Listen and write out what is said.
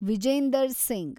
Vijender Singh